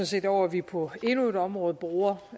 set over at vi på endnu et område bruger